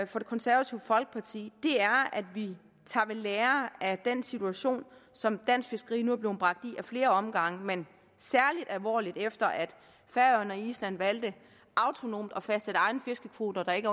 for det konservative folkeparti er at vi tager ved lære af den situation som dansk fiskeri nu er blevet bragt i af flere omgange men særlig alvorligt efter at færøerne og island valgte autonomt at fastsætte egne fiskekvoter der ikke